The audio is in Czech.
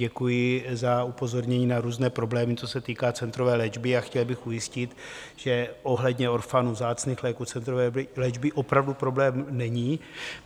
Děkuji za upozornění na různé problémy, co se týká centrové léčby, a chtěl bych ujistit, že ohledně orphanů, vzácných léků, centrové léčby opravdu problém není.